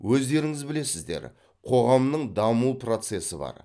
өздеріңіз білесіздер қоғамның даму процесі бар